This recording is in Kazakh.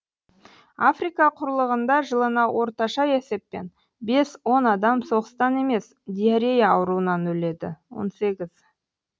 африка құрлығында жылына орташа есеппен бес он адам соғыстан емес диарея ауруынан өледі он сегіз